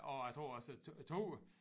Og jeg tror også toget